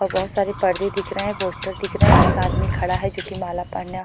और बहोत सारे पर्दे दिख रहे है पोस्टर दिख रहे है एक आदमी खड़ा है जो की माला पान्याँ।